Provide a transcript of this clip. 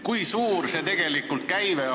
Kui suur see käive tegelikult on?